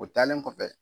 O taalen kɔfɛ